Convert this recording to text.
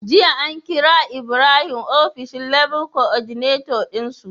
Jiya an kira ibrahim ofishin Level Coordinator din su